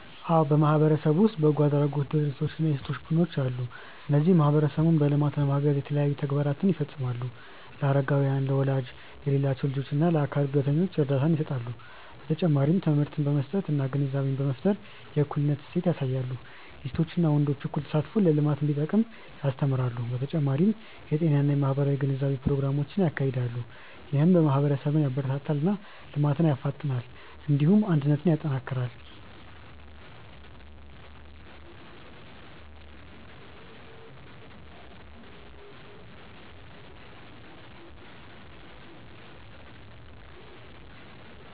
አዎ በማህበረሰብ ውስጥ በጎ አድራጎት ድርጅቶች እና የሴቶች ቡድኖች አሉ። እነሱ ማህበረሰቡን በልማት ለማገዝ የተለያዩ ተግባራትን ይፈጽማሉ። ለአረጋውያን፣ ለወላጅ የሌላቸው ልጆች እና ለአካል ጉዳተኞች እርዳታ ይሰጣሉ። በተጨማሪም ትምህርት በመስጠት እና ግንዛቤ በመፍጠር የእኩልነት እሴት ያሳያሉ። የሴቶችና ወንዶች እኩል ተሳትፎ ለልማት እንዲጠቅም ያስተምራሉ። በተጨማሪም የጤና እና የማህበራዊ ግንዛቤ ፕሮግራሞችን ያካሂዳሉ። ይህም ማህበረሰብን ያበረታታል እና ልማትን ያፋጥናል። እንዲሁም አንድነትን ያጠናክራል።